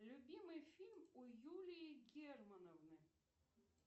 любимый фильм у юлии германовны